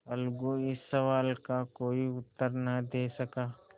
अलगू इस सवाल का कोई उत्तर न दे सका